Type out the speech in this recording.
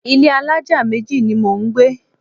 Ilé alájà méjì ni mò ń gbé.